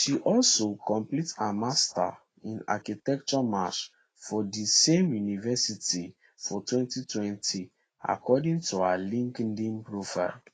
she also complete her master in architecture march from di same university for 2020 according to her linkedin profile